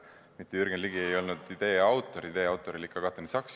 Mitte Jürgen Ligi ei olnud selle idee autor, vaid oli ikka Katrin Saks.